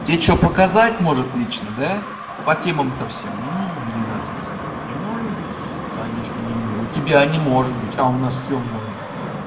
те что показать может лично да по темам то всем двенадцать презентаций не можем конечно не можем у тебя не может быть а у нас всё может